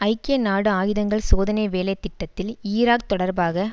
ஐக்கிய நாடு ஆயுதங்கள் சோதனை வேலை திட்டத்தில் ஈராக் தொடர்பாக